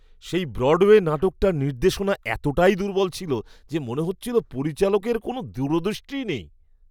সেই ব্রডওয়ে নাটকটার নির্দেশনা এতটাই দুর্বল ছিল যে মনে হচ্ছিল পরিচালকের কোনও দূরদৃষ্টিই নেই।